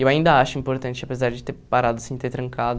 E eu ainda acho importante, apesar de ter parado assim, ter trancado.